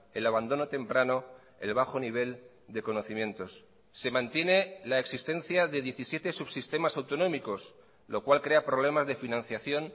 el abandono temprano el bajo nivel de conocimientos se mantiene la existencia de diecisiete subsistemas autonómicos lo cual crea problemas de financiación